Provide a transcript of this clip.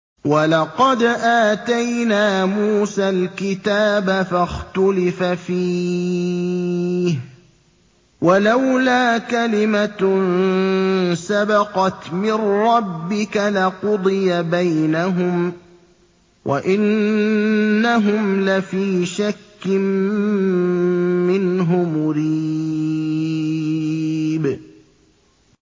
وَلَقَدْ آتَيْنَا مُوسَى الْكِتَابَ فَاخْتُلِفَ فِيهِ ۗ وَلَوْلَا كَلِمَةٌ سَبَقَتْ مِن رَّبِّكَ لَقُضِيَ بَيْنَهُمْ ۚ وَإِنَّهُمْ لَفِي شَكٍّ مِّنْهُ مُرِيبٍ